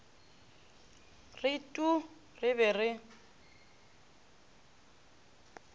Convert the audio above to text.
re tuu re be re